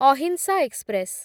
ଅହିଂସା ଏକ୍ସପ୍ରେସ